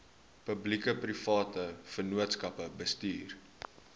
publiekeprivate vennootskappe bestuur